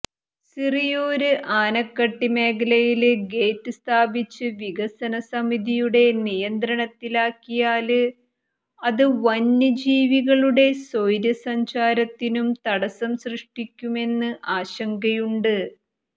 സിറിയൂര് ആനകട്ടി മേഖലയില് ഗേറ്റ് സ്ഥാപിച്ച് വികസനസമിതിയുടെ നിയന്ത്രണത്തിലാക്കിയാല് അത് വന്യജീവികളുടെ സ്വൈര സഞ്ചാരത്തിനും തടസ്സം സൃഷ്ടിക്കുമെന്ന് ആശങ്കയുണ്ട്